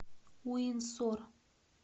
уинсор